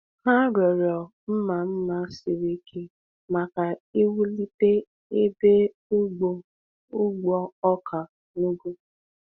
Ha rịọrọ mma mma siri ike maka iwulite ebe ugbo ugbo oka n’ugwu.